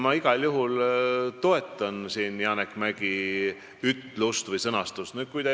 Ma igal juhul toetan siin Janek Mäggi seisukohta.